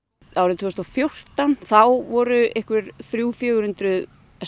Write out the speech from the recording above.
árið tvö þúsund og fjórtán þá voru einhver þrjú til fjögur hundruð